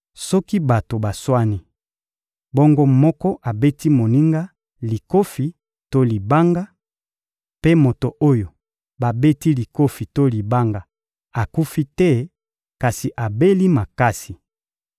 Soki bato baswani, bongo moko abeti moninga likofi to libanga; mpe moto oyo babeti likofi to libanga akufi te kasi abeli makasi;